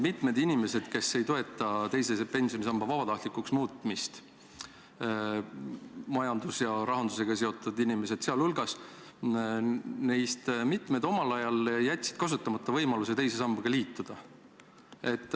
Mitmed inimesed, kes ei toeta teise pensionisamba vabatahtlikuks muutmist – sh majanduse ja rahandusega seotud inimesed –, jätsid omal ajal kasutamata võimaluse teise sambaga liituda.